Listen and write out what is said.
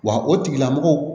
Wa o tigilamɔgɔw